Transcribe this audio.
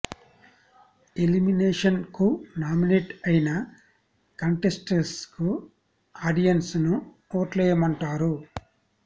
elimination కు nominate అయిన contestants కు ఆడియన్స్ ను ఓట్లేయమంటారు